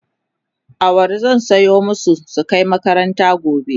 awara zan soya masu su Kai makaranta gobe